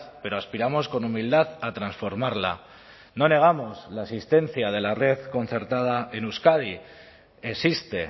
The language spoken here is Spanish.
pero aspiramos con humildad a transformarla no negamos la existencia de la red concertada en euskadi existe